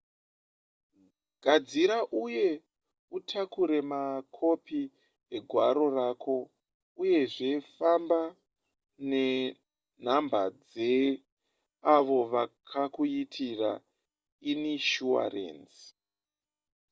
gadzira uye utakure makopi egwaro rako uyezve famba nenhamba dzeavo vakakuitira inishuwarenzi